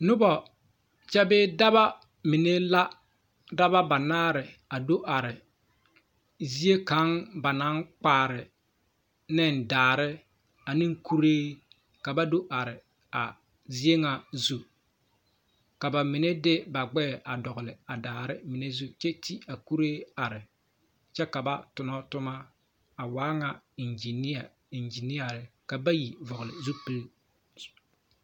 Nobɔ kyɛ bee daba mine la daba banaare a do are zie kaŋ ba naŋ kpaare neŋ daare aneŋ kuree ka ba do are a zie ŋa zu ka ba mine de ba gbɛɛ a dɔgle a daare mine zu kyɛ te a kuree are kyɛ ka ba tonɔ tomma a waa ŋa eŋginia ka bayi vɔgle zupil.